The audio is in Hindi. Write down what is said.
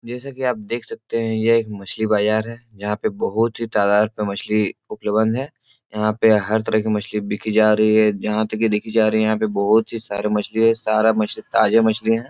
जैसे कि आप देख सकते हैं ये एक मछली बाजार है। जहां पर बहुत ही तादार पर मछली उपलबंध है। यहां पर हर तरह की मछली बिकी जा रही है। जहां तक देखी जा रही है। यहां पर बहुत ही सारे मछली है। सारा मछली ताजा मछली है|